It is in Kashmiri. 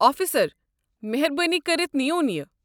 آفیسر، مہربٲنی کٔرتھ نِیوُن یہِ۔